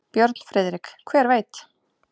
Björn Friðrik: Hver veit.